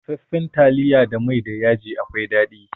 Dafaffan taliya da mai da yaji akwai daɗi.